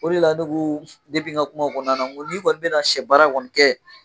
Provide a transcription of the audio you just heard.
O de la ne ko n ka kuma kɔnɔna na n ko n'i kɔni bɛna na sɛ baara kɔni kɛ